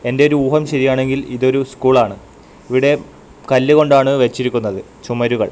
എൻ്റെ ഒരു ഊഹം ശരിയാണെങ്കിൽ ഇതൊരു സ്കൂളാണ് ഇവിടെ കല്ല് കൊണ്ടാണ് വെച്ചിരിക്കുന്നത് ചുമരുകൾ.